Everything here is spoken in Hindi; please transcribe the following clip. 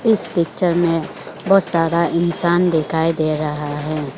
इस पिक्चर में बहोत सारा इंसान दिखाई दे रहा है।